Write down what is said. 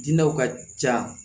Dinɛw ka ca